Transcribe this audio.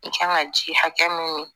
N kan ka ji hakɛ min min